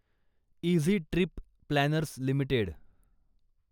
easy Trip Planners limited